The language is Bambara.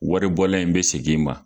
Waribɔlan in be seg' i ma